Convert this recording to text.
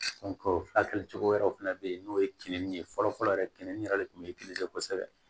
furakɛli cogo wɛrɛw fɛnɛ be yen n'o ye keninge fɔlɔ fɔlɔ yɛrɛ kinni yɛrɛ de kun bɛ kosɛbɛ